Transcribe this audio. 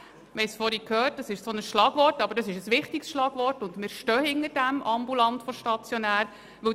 Wir haben es bereits vorhin gehört, und es ist ein Schlagwort, aber ein wichtiges Schlagwort, und dahinter diesem stehen wir.